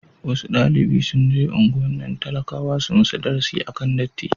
wasu dalibi sunje unguwannin talakawa su musu darasi akan illar datti